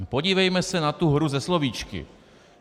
Podívejme se na tu hru se slovíčky.